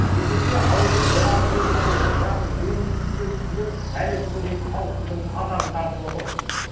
есесіне ауылдың жоғарғы бөлігіндегі яғни дөңнің үстіндегі үйлер әлі күнге дейін ауызсудың азабын тартып отыр